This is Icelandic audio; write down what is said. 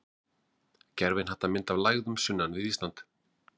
Gervihnattamynd af lægðum sunnan við Ísland.